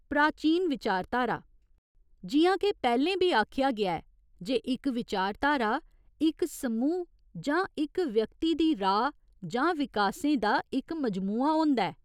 प्राचीन विचारधारा जि'यां के पैह्‌लें बी आखेआ गेआ ऐ जे इक विचारधारा इक समूह् जां इक व्यक्ति की राऽ जां विश्वासें का इक मजमूआ होंदा है।